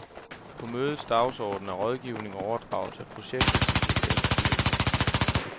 På mødets dagsorden er rådgivning og overdragelse af projektet til de lokale styrelser.